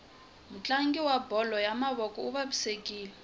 mutlangi wa bolo ya mavoko uvavisekile